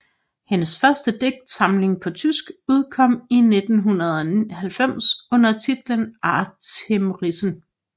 Hendes første digtsamling på tysk udkom i 1990 under titlen Atemrisse